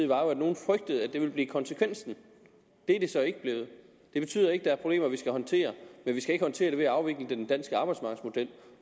var at nogle frygtede at det ville blive konsekvensen det er det så ikke blevet det betyder ikke der ikke er problemer vi skal håndtere men vi skal ikke håndtere det ved at afvikle den danske arbejdsmarkedsmodel